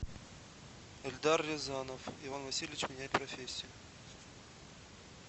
эльдар рязанов иван васильевич меняет профессию